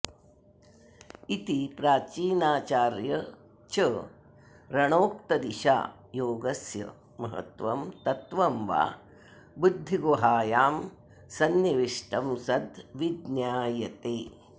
इति प्राचीनाचार्यचरणोक्तदिशा योगस्य महत्त्वं तत्त्वं वा बुद्धिगुहायां सन्निविष्टं सद् विज्ञायते